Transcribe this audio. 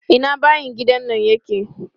Ina bayin gidan nan yake?